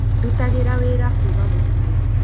Ndutagira wĩra kuuma mũciĩ